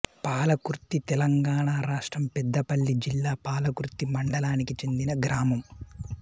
పాలకుర్తితెలంగాణ రాష్ట్రం పెద్దపల్లి జిల్లా పాలకుర్తి మండలానికి చెందిన గ్రామం